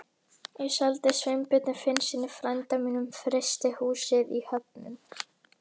Ég seldi Sveinbirni Finnssyni, frænda mínum, frystihúsið í Höfnum.